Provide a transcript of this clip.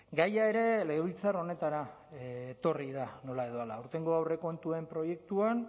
gaia ere legebiltzar honetara etorri da nola edo hala aurtengo aurrekontuen proiektuan